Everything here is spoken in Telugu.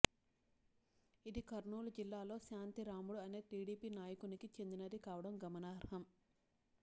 ఇది కర్నూలు జిల్లాలో శాంతిరాముడు అనే టీడీపీ నాయకునికి చెందినది కావడం గమనార్హం